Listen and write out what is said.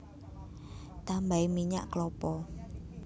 Tambahi minyak klapa